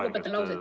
Ma lõpetan lause.